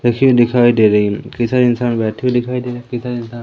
रखी हुई दिखाई दे रही उम् कई सारे इंसान बैठे हुए दिखाई देरे कई सारे इंसान --